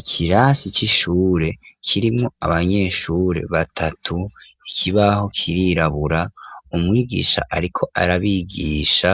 Ikirasi c'ishure kirimwo abanyeshure batatu, ikibaho kirirabura, umwigisha ariko arabigisha